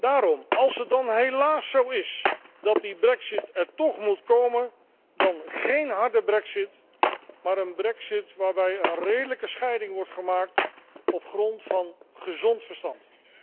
Daarom, als het dan helaas zo is dat die brexit er toch moet komen, dan geen harde brexit, maar een brexit waarbij een redelijke scheiding wordt gemaakt op grond van gezond verstand.